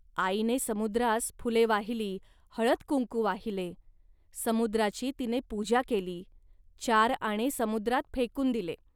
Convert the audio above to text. आईने समुद्रास फुले वाहिली, हळदकुंकू वाहिले. समुद्राची तिने पूजा केली, चार आणे समुद्रात फेकून दिले